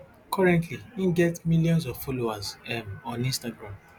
currently im get miilions of followers um on instagram